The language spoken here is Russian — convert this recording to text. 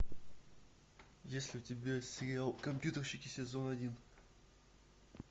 есть ли у тебя сериал компьютерщики сезон один